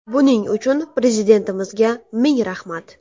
Buning uchun Prezidentimizga ming rahmat”.